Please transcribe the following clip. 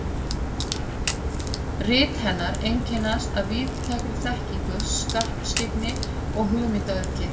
Rit hennar einkennast af víðtækri þekkingu, skarpskyggni og hugmyndaauðgi.